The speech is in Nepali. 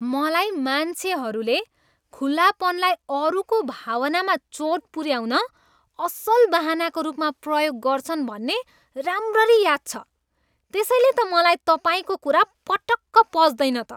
मलाई मान्छेहरूले खुलापनलाई अरूको भावनामा चोट पुऱ्याउन असल बहानाको रूपमा प्रयोग गर्छन् भन्ने राम्ररी याद छ। त्यसैले त मलाई तपाईँको कुरा पटक्क पच्दैन त।